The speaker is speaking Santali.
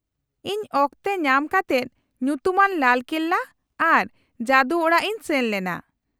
-ᱤᱧ ᱚᱠᱛᱮ ᱧᱟᱢ ᱠᱟᱛᱮᱫ ᱧᱩᱛᱩᱢᱟᱱ ᱞᱟᱞ ᱠᱮᱞᱞᱟ ᱟᱨ ᱡᱟᱫᱩᱚᱲᱟᱜ ᱤᱧ ᱥᱮᱱ ᱞᱮᱱᱟ ᱾